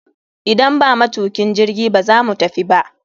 Idan ba matukin jirgi, ba za mu tafi ba.